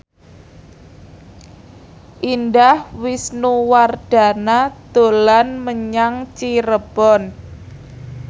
Indah Wisnuwardana dolan menyang Cirebon